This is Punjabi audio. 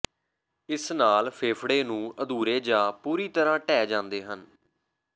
ਇਸ ਨਾਲ ਫੇਫੜੇ ਨੂੰ ਅਧੂਰੇ ਜਾਂ ਪੂਰੀ ਤਰ੍ਹਾਂ ਢਹਿ ਜਾਂਦੇ ਹਨ